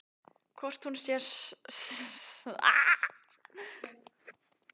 Hvort hún sé stjörnuvitlaus?